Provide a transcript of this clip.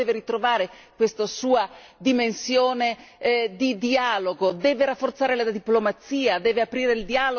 L'Europa deve ritrovare questa sua dimensione di dialogo, deve rafforzare la diplomazia, deve aprire il dialogo, deve costruire ponti.